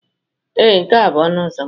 Ee, nke a bụ ọnụ ụzọ m.